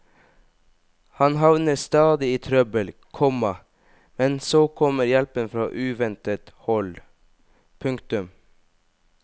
Han havner stadig i trøbbel, komma men så kommer hjelpen fra uventet hold. punktum